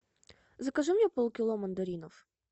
закажи мне полкило мандаринов